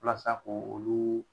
Walasa ko olu